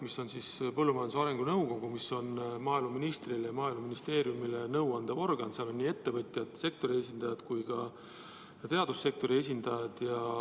PMAN on põllumajanduse ja maaelu arengu nõukogu, mis on maaeluministrile ja Maaeluministeeriumile nõu andev organ, seal on nii ettevõtjad, sektori esindajad kui ka teadussektori esindajad.